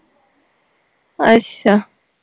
ਅੱਛਾ